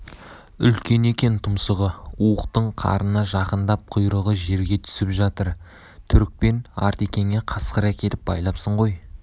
үлкен екен тұмсығы уықтың қарына жақындап құйрығы жерге түсіп жатыр түрікпен артекеңе қасқыр әкеліп байлапсың ғой